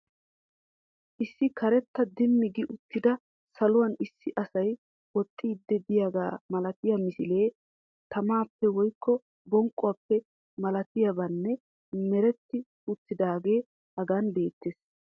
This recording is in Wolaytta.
Issi karetta Dimmi gi uttida saluwani issi asay woxxiiddi de'iyaagaa malatiya misilee tamaappe woyikko bonqquwa malatiyaban meretti uuttidaagee Hagan beettees.